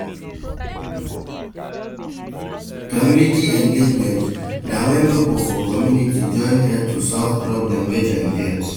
Community engagement na when pipo for community join head to solve problem wey dem get